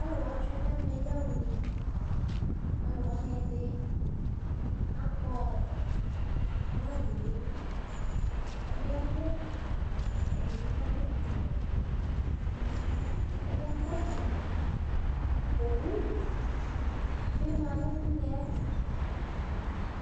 Alʋ wa tsue nʋ ɛmɛ yaɣa une Alʋ wanɩ ɛdɩ akpɔ ɔ bag nʋ idu Ɛdɩ adʋ afʋkpawɛ, ɛdɩ adʋ afʋkpafuele Ɛdɩ akɔ ɛkɔtɔwɛ Owu bɩ ma nʋ une yɛ tʋ